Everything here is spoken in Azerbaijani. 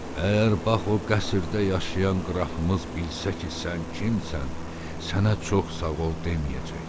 Əgər bax o qəsrdə yaşayan qrafımız bilsə ki, sən kimsən, sənə çox sağ ol deməyəcək.